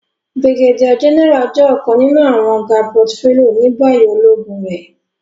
Brigadier General jẹ ọkan ninu awọn ga portfolio ni bayi ologun re.